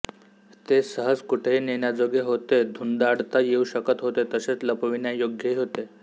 ते सहज कुठेही नेण्याजोगे होते धुंडाळता येऊ शकत होते तसेच लपविण्यायोग्यही होते